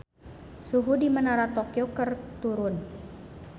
Suhu di Menara Tokyo keur turun